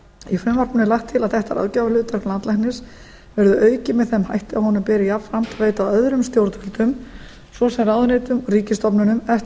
í frumvarpinu er lagt til að þetta ráðgjafarhlutverk landlæknis verði aukið með þeim hætti að honum beri jafnframt að veita öðrum stjórnvöldum ss ráðuneytum og ríkisstofnunum eftir